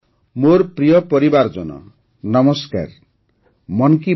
୩ ର ସଫଳତା ପରେ ଜି୨୦ର ଭବ୍ୟ ଆୟୋଜନ ପ୍ରତ୍ୟେକ ଭାରତୀୟଙ୍କ ଖୁସିକୁ ଦ୍ୱିଗୁଣିତ କରିଦେଇଛି ପ୍ରଧାନମନ୍ତ୍ରୀ